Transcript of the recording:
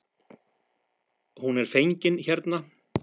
Hún er fengin hérna.